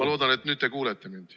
Ma loodan, et nüüd te kuulete mind.